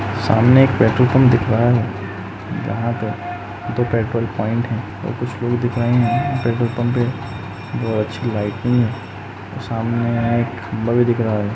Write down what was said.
सामने एक petrol pump दिख रहा है। जहाँ पे दो पेट्रोल पॉइंट हैं और कुछ लोग दिख रहे हैं। पेट्रोल पम्प पे बहोत अच्छी लाइटिंग है। सामने एक खंबा भी दिख रहा है।